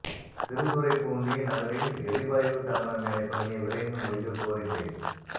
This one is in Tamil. திருத்துறைப்பூண்டி நகரில்எரிவாயு தகன மேடை பணியை விரைந்து முடிக்க கோரிக்கை